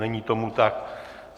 Není tomu tak.